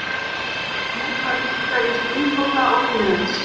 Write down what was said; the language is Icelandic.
Mótmælendur krefjast umbóta og lýðræðis